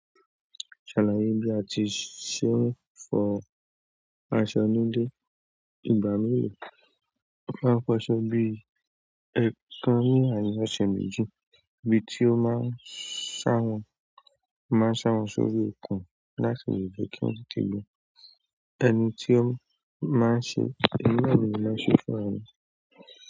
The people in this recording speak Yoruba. Ṣàlàyé bí a ti ṣe ń fọ basa núdé. Ìgbà mìíràn a máa fọ aṣọ bí i ẹ̀kan ní àárín ọ̀ṣẹ̀ méjì bí tí ó máa ń ṣàwọn, máa ń ṣàwọn sórí okùn láti lè jẹ́ kí wọ́n tẹ lè gbe. Ẹni tí ó máa ń ṣe, ẹmi náà ni mo máa ń ṣe fún ara mi.